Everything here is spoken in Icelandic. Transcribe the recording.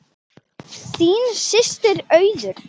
Þín systir, Auður.